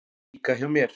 Líka hjá mér.